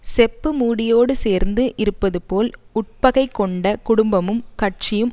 செப்பு மூடியோடு சேர்ந்து இருப்பதுபோல் உட்பகை கொண்ட குடும்பமும் கட்சியும்